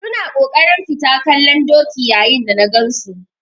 Su na kokarin fita kallon doki yayin da na gan su.